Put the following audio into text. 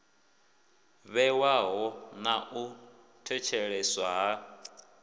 vhewaho ḽa u thetsheleswa ha